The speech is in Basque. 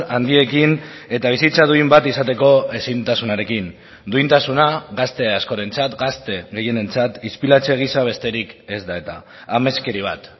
handiekin eta bizitza duin bat izateko ezintasunarekin duintasuna gazte askorentzat gazte gehienentzat ispilatze giza besterik ez da eta ameskeri bat